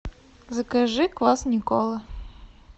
закажи квас никола